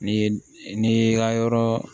N'i ye n'i y'i ka yɔrɔ